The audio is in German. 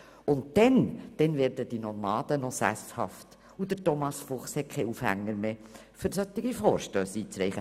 Und dann werden die Nomaden auch sesshaft werden und Thomas Fuchs wird keinen Aufhänger mehr haben, um solche Vorstösse einzureichen.